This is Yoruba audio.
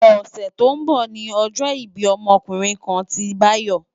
Òsè tó n bò ni òjò ibi òmò òkúrin kán ti Dayo